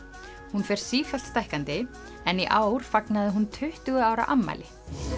hún fer sífellt stækkandi en í ár fagnaði hún tuttugu ára afmæli